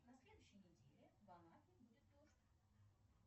на следующей неделе в анапе будет дождь